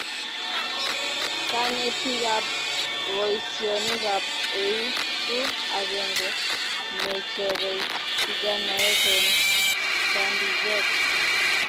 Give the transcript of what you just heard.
kanetee kab boisionik ab euu ku akenge nechobei vijanaek en kaandiket